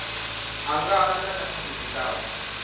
angana na khakhathi dzi ngaho